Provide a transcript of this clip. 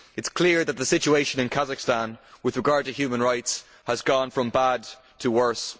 It is clear that the situation in Kazakhstan with regard to human rights has gone from bad to worse.